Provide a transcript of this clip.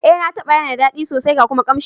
Eh, na taba yana da dadi sosai ga kuma kanshi.